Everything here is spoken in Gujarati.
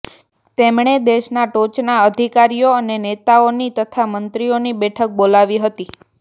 તેમણે દેશના ટોચના અધિકારીઓ અને નેતાઓની તથા મંત્રીઓની બેઠક બોલાવી હતી